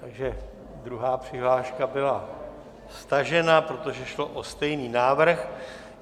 Takže druhá přihláška byla stažena, protože šlo o stejný návrh.